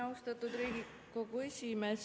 Austatud Riigikogu esimees!